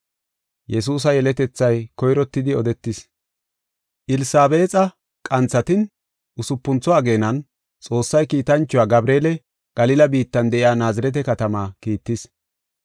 Elsabeexa qanthatin usupuntho ageenan, Xoossay kiitanchuwa Gabreele Galila biittan de7iya Naazirete katamaa kiittis.